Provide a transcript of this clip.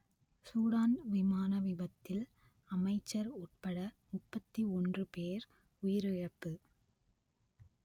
Sudan விமான விபத்தில் அமைச்சர் உட்பட முப்பத்தி ஒன்று பேர் உயிரிழப்பு